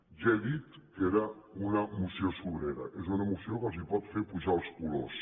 ja he dit que era una moció sobrera és una moció que els pot fer pujar els colors